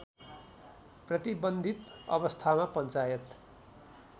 प्रतिबन्धित अवस्थामा पञ्चायत